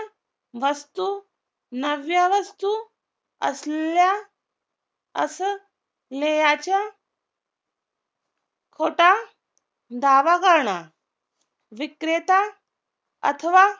वस्तू नव्या वस्तू असल्या असं ल्याच्या खोटा दावा करणं विक्रेता अथवा